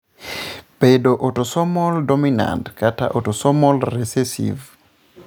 bedo autosomal dominant kata autosomal recessive.